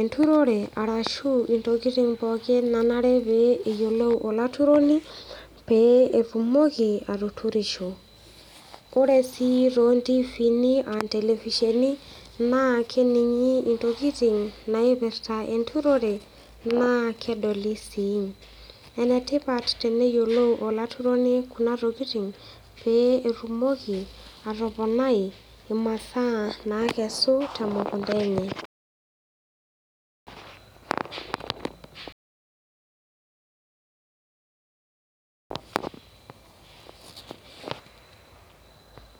enturore arashu intokiting pookin nanare pee eyiolou olaturoni pee etumoki atuturisho ore sii tontifini aa intelevisheni naa kening'i intokiting' naipirrta enturore naa kedoli sii. enetipat teneyiolou olaturoni kuna tokiting' pee etumoki atoponai imasaa nakesu temukunta enye.